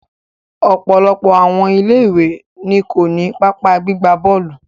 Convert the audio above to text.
Ọ̀pọ̀lọpọ̀ àwọn ilé ìwé ni ko ni pápá gbigba bọ́ọ̀lù.